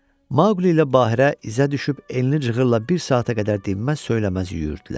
Mauqli ilə Bahirə izə düşüb enli cığırla bir saata qədər dinməz söyləməz yüyürürdülər.